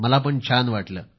मला पण छान वाटले